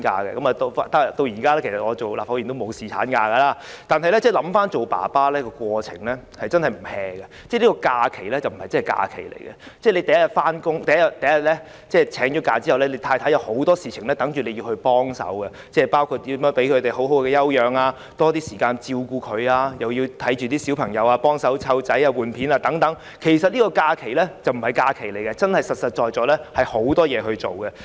其實我今天當了立法會議員也沒有，但回憶起當爸爸的過程真的不清閒，這個假期並不是真假期，由請假的第一天起，太太已有很多事情等着我幫忙，包括如何讓太太好好休養身體、給多些時間照顧她，又要幫忙照顧小朋友、更換尿片等，其實這個假期並非假期，而是實實在在有很多事情要做。